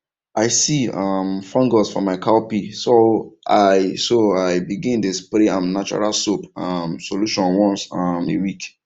i see um fungus for my cowpea so i so i begin dey spray am natural soap um solution once um a week